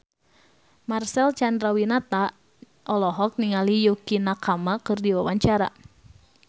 Marcel Chandrawinata olohok ningali Yukie Nakama keur diwawancara